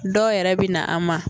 Dɔw yɛrɛ bi na an ma